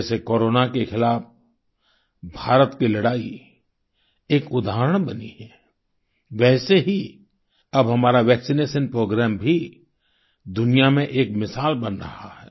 जैसे कोरोना के खिलाफ भारत की लड़ाई एक उदाहरण बनी है वैसे ही अब हमारा वैक्सिनेशन प्रोग्राम भी दुनिया में एक मिसाल बन रहा है